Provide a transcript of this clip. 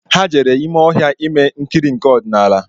Ha jere ime ọhịa ime nkiri nke odinala